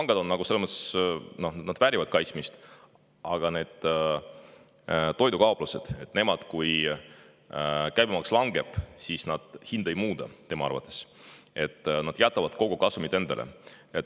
Tema arvates pangad selles mõttes väärivad kaitsmist, aga toidukauplused, kui käibemaks langeb, hinda ei muuda, tema arvates nad jätavad kogu kasumi endale.